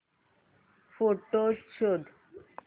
photos शोध